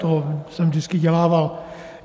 To jsem vždycky dělával.